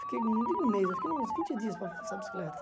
Fiquei, não digo um mês, eu fiquei uns vinte dias para fazer essa bicicleta.